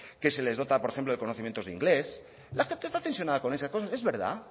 que se les dota por ejemplo de conocimiento de inglés la gente está tensionada con esas cosas es verdad